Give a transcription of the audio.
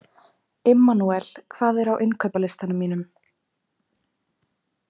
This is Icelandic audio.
Immanúel, hvað er á innkaupalistanum mínum?